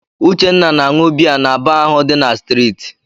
Uche na-aṅụ biya na baa ahụ dị n'streeti.